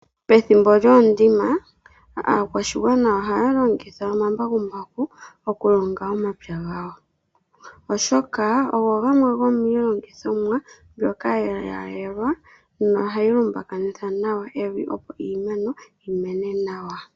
Pethimbo lyoondima aakwashigwana ohaya longitha omambakumbaku okulonga omapya gawo, oshoka ogo gamwe gomiilongithomwa mbyoka ya yelwayelwa nohayi lumbakanitha nawa evi, opo iimeno yimene nawa.